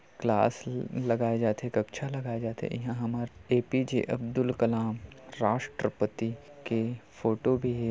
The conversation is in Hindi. क्लास ल लगाए जाथे कक्षा लगाए जाथे इहा हमर A P J Abdul Kalam राष्ट्रपति के फोटो भी हे।